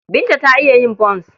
Binta ta iya yin bons.